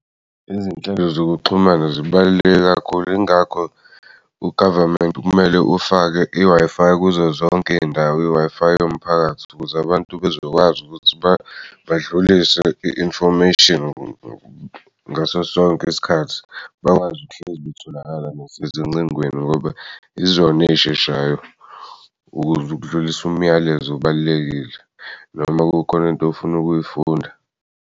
Izinhlelo zokuxhumana zibaluleke kakhulu. Yingakho u-government kumele ufake i-Wi-Fi kuzo zonke iy'ndawo, i-Wi-Fi yomphakathi ukuze abantu bezokwazi ukuthi badlulise i-information ukuthi ngaso sonke isikhathi bakwazi ukuhlezi betholakala nasezingcingweni. Ngoba izona ey'sheshayo ukuze udlulisa umyalezo obalulekile noma kukhona into ofuna ukuyifunda.